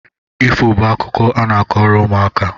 Ifo bụ akụkọ a na-akọrọ ụmụaka